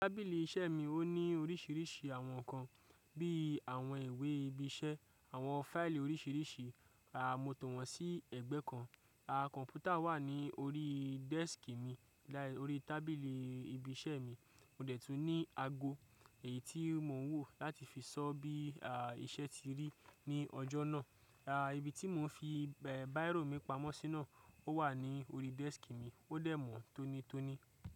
Tábìlì iṣẹ́ mi ó ní oríṣiríṣi àwọn nǹkan bí í àwọn ìwé ibi iṣẹ́, àwọn fáìlì oríṣiríṣi. Rárá, mo tọ̀ wọ́n sí ẹ̀gbẹ́ kan. A, kọ̀m̀pútà wà ní orí desk mi like orí tábìlì ibi iṣẹ́ mi. Mo dẹ̀ tún ní ago èyí tí mò ń wò láti fi sọ bí i iṣẹ́ ti rí ní ọjọ́ náà. Aá, ibi tí mò ń fi, ẹ́, bírò mi pamọ́ sínú ò wà ní orí desk mi, ó dẹ̀ mọ̀ tónítóní.